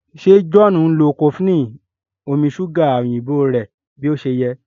ṣe John nlọ cofflin ni omí ṣuga òyìnbó rẹ bí ọṣẹ yé?